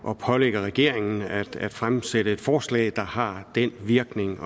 at pålægge regeringen at fremsætte et forslag der har den virkning